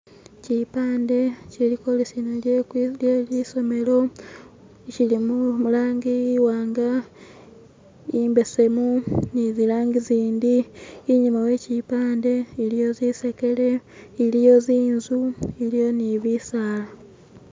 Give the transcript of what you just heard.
chipande chilikwolesana lelisomelo shili mulangi iwanga imbesemu nizilangi zindi inyuma wechipande iliyo zisekele iliyo zinzu iliyo nibisaala